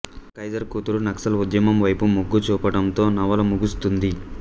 Kaiser కూతురు నక్సల్ ఉద్యమం వైపు మొగ్గు చూపడంతో నవల ముగుస్తుంది